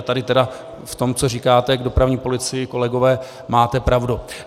A tady tedy v tom, co říkáte k dopravní policii, kolegové, máte pravdu.